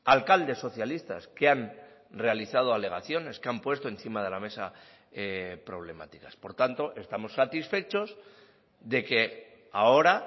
alcaldes socialistas que han realizado alegaciones que han puesto encima de la mesa problemáticas por tanto estamos satisfechos de que ahora